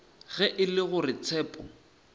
ge e le gore tshepo